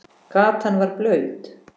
Gatan var blaut.